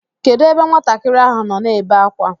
Kedụ ebe nwatakịrị ahụ nọ na-ebe akwa?